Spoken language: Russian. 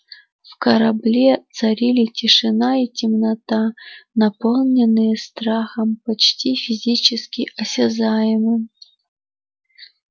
в корабле царили тишина и темнота наполненные страхом почти физически осязаемым